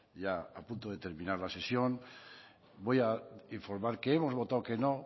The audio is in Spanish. ya a punto de terminar la sesión voy a informar que hemos votado que no